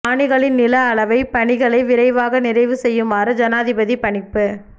காணிகளின் நில அளவைப் பணிகளை விரைவாக நிறைவு செய்யுமாறு ஜனாதிபதி பணிப்பு